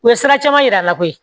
U ye sira caman yir'a la koyi